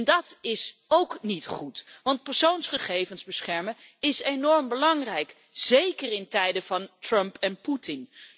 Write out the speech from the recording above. En dat is ook niet goed, want persoonsgegevens beschermen is enorm belangrijk, zeker in tijden van Trump en Poetin.